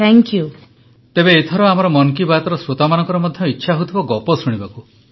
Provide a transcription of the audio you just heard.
ପ୍ରଧାନମନ୍ତ୍ରୀ ତେବେ ଏଥର ଆମର ମନ କି ବାତର ଶ୍ରୋତାମାନଙ୍କର ମଧ୍ୟ ଇଚ୍ଛା ହେଉଥିବ ଗପ ଶୁଣିବାକୁ